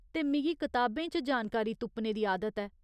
ते मिगी किताबें च जानकारी तुप्पने दी आदत ऐ।